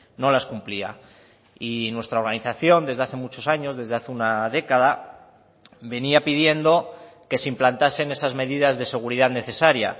no las cumplía y nuestra organización desde hace muchos años desde hace una década venía pidiendo que se implantasen esas medidas de seguridad necesaria